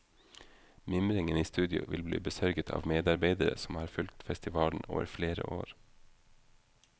Mimringen i studio vil bli besørget av medarbeidere som har fulgt festivalen over flere år.